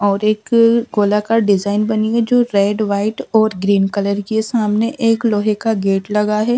और एक गोलाकार डिजाइन बनी है जो रेड व्हाइट और ग्रीन कलर की है सामने एक लोहे का गेट लगा है।